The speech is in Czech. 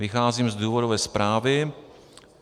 Vycházím z důvodové zprávy.